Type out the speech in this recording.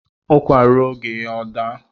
Ukwa ruo oge ya ọ daa